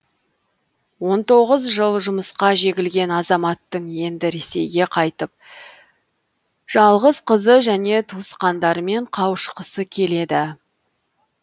он тоғыз жыл жұмысқа жегілген азаматтың енді ресейге қайтып жалғыз қызы және туысқандарымен қауышқысы келеді